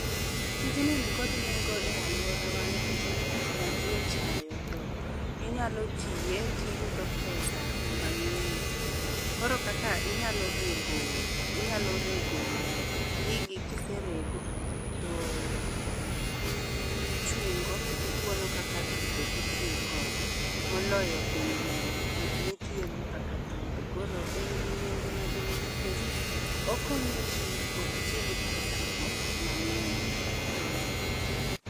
Tijni ni kod nego e aluora wa nikech en tich ma ji ochayo, to inyalo tiye ti iyudo pesa mangeny. Koro kaka inyalo rego gigi ka iserego, to ichungo ti itwono kaka thudho ti itiyo kode ,mo loyo gik mi itiyo go kaka thudho. Koro en gi nengo maduong' nikech okonyo ji ok ti gi pesa mang'eny.